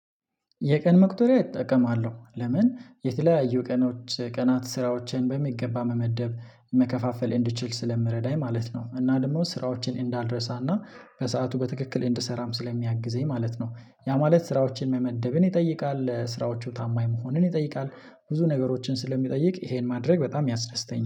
የቀን መቁጠሪያ እጠቀማለሁ ለምን የተለያዩ ቀኖች ቀናት ስራዎችን በሚገባ መመደብ መከፋፈል እንድችል ስለሚረዳኝ ማለት ነው። እና ደግሞ ስራዎችን እንዳልረሳና በሰአቱ በትክክል እንድሰራም ስለሚያግዘኝ ማለት ነው። ያ ማለት ስራዎችን መመደብን ይጠይቃል ስራዎቹ ታማኝ መሆንን ይጠይቃል። ብዙ ነገሮችን ስለሚጠይቅ ይሄን ማድረግ በጣም ያስደስተኛል